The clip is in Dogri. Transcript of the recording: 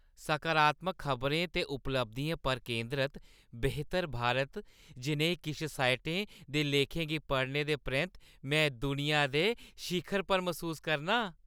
सकारात्मक खबरें ते उपलब्धियें पर केंदरत "बेहतर भारत" जनेही किश साइटें दे लेखें गी पढ़ने दे परैंत्त में दुनिया दे शिखरै पर मसूस करनां।